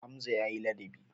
Hamza ya yi ladabi.